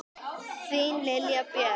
Þín Lilja Björg.